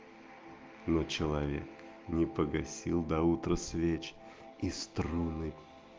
но человек не погасил до утра свеч и струны